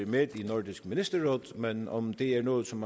med i nordisk ministerråd men om det er noget som